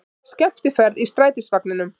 Skemmtiferð í strætisvagninum